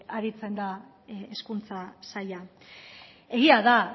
aritzen da hezkuntza saila egia da